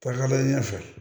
Tagalen ɲɛfɛ